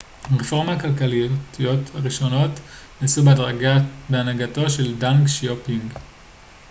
הרפורמות הכלכליות הראשונות נעשו בהנהגתו של דנג שיאופינג